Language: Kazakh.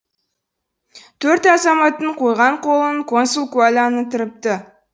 төрт азаматтың қойған қолын консул куәландырыпты